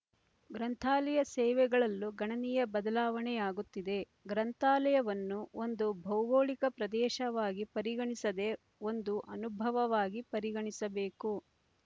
ಗ್ರಂಥಾಲಯ ಸೇವೆಗಳಲ್ಲೂ ಗಣನೀಯ ಬದಲಾವಣೆಯಾಗುತ್ತಿದೆ ಗ್ರಂಥಾಲಯವನ್ನು ಒಂದು ಭೌಗೋಳಿಕ ಪ್ರದೇಶವಾಗಿ ಪರಿಗಣಿಸದೇ ಒಂದು ಅನುಭವವಾಗಿ ಪರಿಗಣಿಸಬೇಕು